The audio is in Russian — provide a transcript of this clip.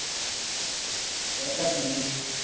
это ключ